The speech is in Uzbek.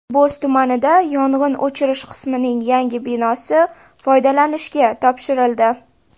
Bo‘z tumanida yong‘in o‘chirish qismining yangi binosi foydalanishga topshirildi.